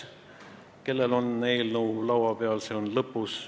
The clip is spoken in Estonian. Nendele, kellel on eelnõu laua peal, ütlen, et see on seal lõpus.